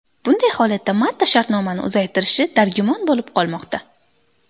Bunday holatda Mata shartnomani uzaytirishi dargumon bo‘lib qolmoqda.